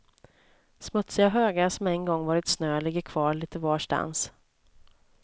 Smutsiga högar som en gång varit snö ligger kvar lite varstans.